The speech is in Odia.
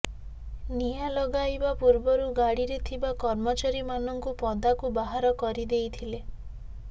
ନିଆଁ ଲଗାଇବା ପୂର୍ବରୁ ଗାଡିରେ ଥିବା କର୍ମଚାରୀମାନଙ୍କୁ ପଦାକୁ ବାହାର କରିଦେଇଥିଲେ